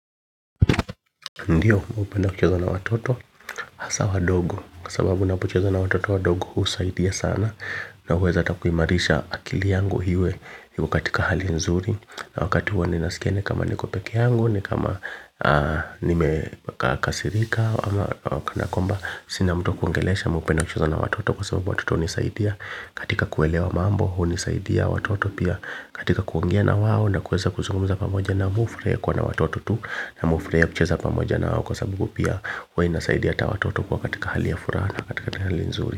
Ndiyo, hupenda kucheza na watoto, hasa wadogo, kwa sababu unapocheza na watoto wadogo husaidia sana. Na huweza hata kuimarisha akili yangu iwe katika hali nzuri. Na wakati huo ninasikia ni kama niko peke yangu, ni kama nimekasirika ama kana kwamba. Sina mtu wa kuongeleesha mimi hupenda kucheza na watoto kwa sababu watoto hunisaidia katika kuelewa mambo hunisaidia watoto pia katika kuongea na wao na kuweza kuzungumza pamoja na mi hufurahia kuwa na watoto tu na me hufurahia kucheza pamoja nao kwa sababu pia huwa inasaidia hata watoto kuwa katika hali ya furaha na katika hali ya nzuri.